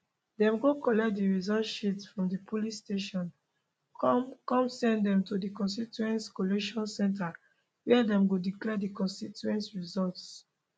dem go collect di results sheets from di polling stations come come send dem to di constituency collation centre wia dem go declare di constituency results